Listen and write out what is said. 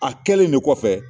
A kɛlen de kɔfɛ